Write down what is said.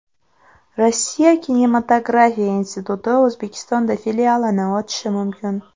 Rossiya kinematografiya instituti O‘zbekistonda filialini ochishi mumkin.